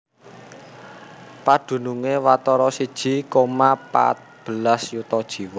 Padunungé watara siji koma pat belas yuta jiwa